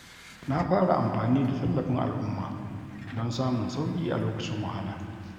Na fara amfani da tallafin al’umma don samun sauƙi a lokacin wahala.